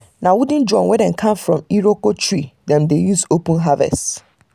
na wooden drum wey dem carve from iroko tree dem dey use open harvest.